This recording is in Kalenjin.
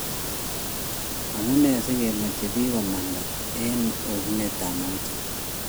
amunene sikemache pik komanda en oset ab mauche